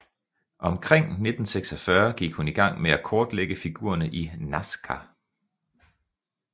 Omkring 1946 gik hun i gang med at kortlægge figurerne i Nazca